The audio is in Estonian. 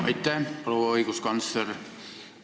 Aitäh, proua õiguskantsler!